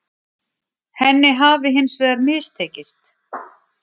Henni hafi hins vegar mistekist